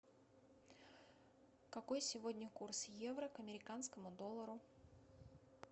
какой сегодня курс евро к американскому доллару